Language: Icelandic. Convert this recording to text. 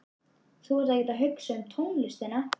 Þú ert ekkert að hugsa um tónlistina.